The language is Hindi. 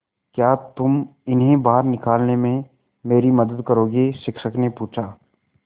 क्या तुम इन्हें बाहर निकालने में मेरी मदद करोगे शिक्षक ने पूछा